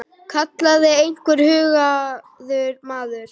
kallaði einhver hugaður maður.